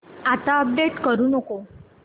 आता अपडेट करू नको